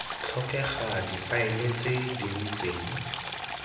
tlhokega difaele tse di ntseng